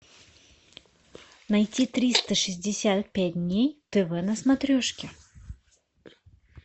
найти триста шестьдесят пять дней тв на смотрешке